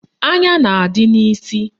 Anya na-adị n'isi